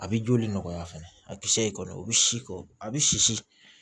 A bɛ joli nɔgɔya fɛnɛ a kisɛ in kɔni o bɛ si ko a bɛ sisi